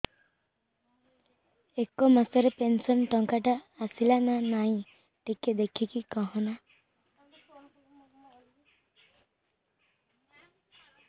ଏ ମାସ ରେ ପେନସନ ଟଙ୍କା ଟା ଆସଲା ନା ନାଇଁ ଟିକେ ଦେଖିକି କହନା